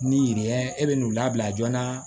Ni yiri ye e bɛ n'u labila joona